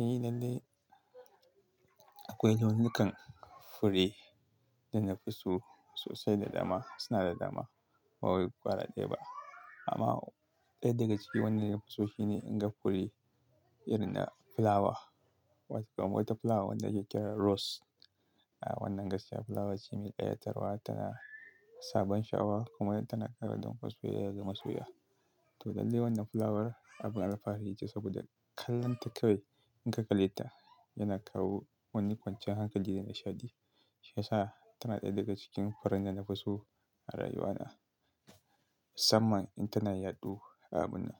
Eh lallai, akwai launukan fure, da na fi so sosai da dama, suna da dama ba wai gwara daya ba. Amma ɗaya daga cikin wanda na fi so shine inga fure irin na fulawa. Wata fulawa wadda ake kira rose. A wannan gaskiya fulawar ce mai ƙayatarwa, tana da, sabon sha'awa kuma tana ƙara don kasuwaya da masoya. To lallai wannan fulawar, abin alfahari ce saboda kallonta kawai, in ka kalle ta yana kawo wani kwanciyar hankali da nishaɗi. Shi ya sa tana ɗaya daga cikin furen da na fi so, a rayuwana. Samman in tana yaɗu abun na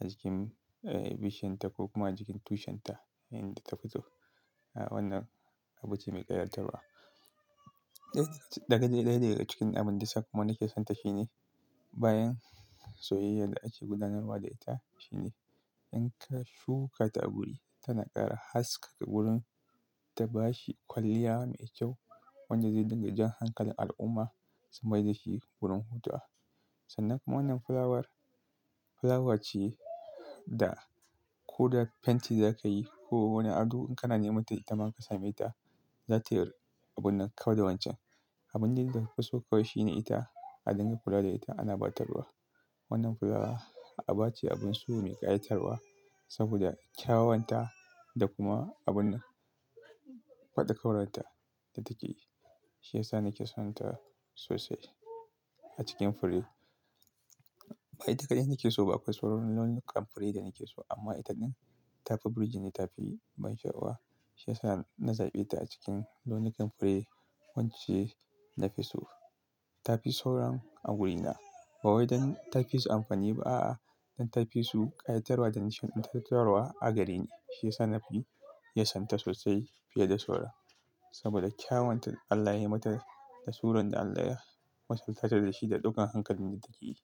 a cikin, eh bishinta ko kuma a cikin tushinta, in ta fito. A wannan abu ce mai ƙayatarwa. Ɗaya daga cikin abin da sakamakon nake sonta shine bayan soyayyar da ake gudanarwa da ita, shine in ka shuka ta a guri tana ƙara haskaka wurin, ta bashi kwalliya mai kyau, wanda zai dinga jan hankalin al'umma, su mai da shi wurin hutuwa. Sannan kuma wannan fulawar, fulawa ce da ko da fenti za ka yi ko wani ado in kana neman ta ita ma ka same ta, za ta yi abun nan kau da wancan. Abin da na fi so kawai shine ita, a dangan kula da ita ana ɓatarwa. Wannan fulawa, aɓa ce abun so mai ƙayatarwa. Saboda kyawanta, da kuma abunan faɗa ƙauranta da take. Shi ya sa nake sonta sosai, a cikin fure. Ba ita kaɗai nake so ba, akwai sauran launukan fure da nake so. Amma itadin, tafi burji ne, tafi ban sha'awa. Shi ya sa na zaɓe ta a cikin launukan fure wance na fi so. Tafi sauran a wurina. Ba wai don ta fi su amfani ba a'a, don ta fi su ƙayatarwa da nishin ingatarwa, a gareni. Shi ya sa na fi yasonta sosai fiye da sauran. Saboda kyawun ta Allah ya yi mata, da suran da Allah ya masaltar da shi da ɗukan hankalin da take yake.